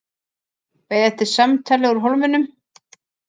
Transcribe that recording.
Beið eftir símtali úr Hólminum